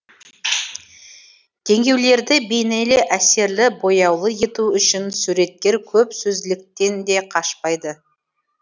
теңеулерді бейнелі әсерлі бояулы ету үшін суреткер көп сөзділіктен де қашпайды